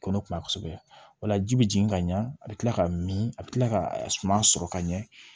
Ko ne kuma kosɛbɛ ola ji be jigin ka ɲɛ a be kila ka mi a bi kila ka suma sɔrɔ ka ɲɛ